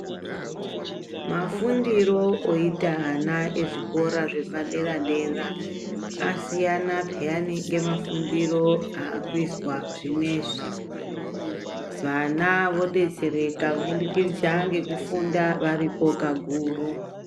Mafundiro oita ana ezvikora zvepaderadera asiyana pheya nemafundiro aakuizwa zvinezvi. Vana vodetsereka kubudikidza ngekufunda varipo kakuru.